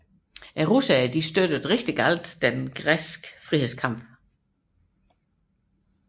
Rusland støttede stærkt den græske frihedskamp